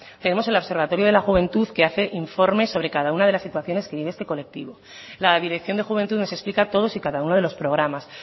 tenemos el observatorio de la juventud que hace informes sobre cada una de las situaciones que vive este colectivo la dirección de juventud nos explica todos y cada uno de los programas